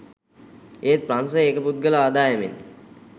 ඒත් ප්‍රංශෙ ඒක පුද්ගල ආදායමෙන්